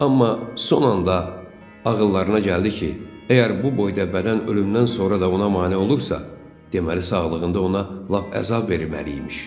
Amma son anda ağıllarına gəldi ki, əgər bu boyda bədən ölümdən sonra da ona mane olursa, deməli sağlığında ona lap əzab verməli imiş.